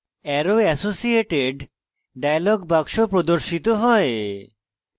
arrow associated dialog box প্রর্দশিত হয়